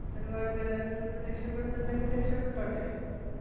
ഒരുപാട് പേര് അതിൽനിന്നും രക്ഷപ്പെടുന്നുണ്ടെങ്കിൽ രക്ഷപ്പെട്ടോട്ടെ.